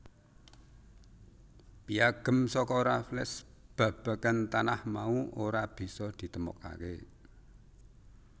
Piyagem saka Raffles babagan tanah mau ora bisa ditemokaké